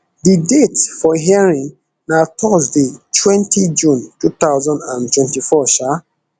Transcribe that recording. di date for hearing na thursday twenty june two thousand and twenty-four um